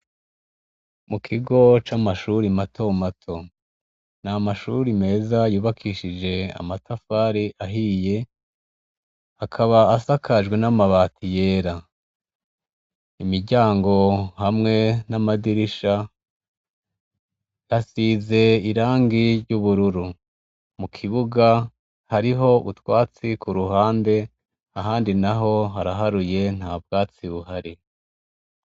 Mukigo c'amashure matomato ni amashure meza yubakishije amatafari ahiye akaba asakajwe namabati yera imiryango hamwe namadirisha hasigishije irangi ry'ubururu mukibuga hariho utwatsi kuruhande ahandi naho haraharuye ntabwatsi buhari.